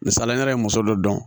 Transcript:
Misala ye muso dɔ dɔn